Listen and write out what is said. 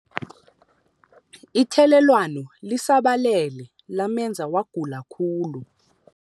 Ithelelwano lisabalele lamenza wagula khulu.